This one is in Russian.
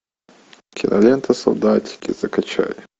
кинолента солдатики закачай